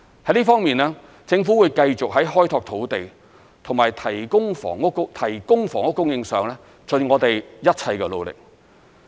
在這方面，政府會繼續在開拓土地及提供房屋供應上盡我們一切的努力。